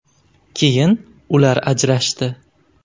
Keyin ular ajrashdi.